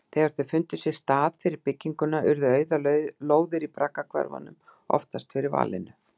Þegar þeir fundu sér stað fyrir bygginguna urðu auðar lóðir í braggahverfunum oftast fyrir valinu.